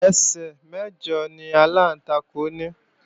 Ẹsẹ̀ mẹ̀jọ ni aláǹtakùn ní